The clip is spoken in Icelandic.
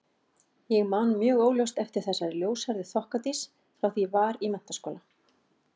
Ég man mjög óljóst eftir þessari ljóshærðu þokkadís frá því ég var í menntaskóla.